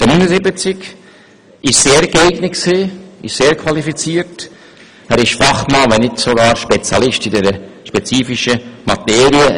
Er ist sehr geeignet, qualifiziert und ein Fachmann, wenn nicht sogar ein Spezialist in dieser spezifischen Materie.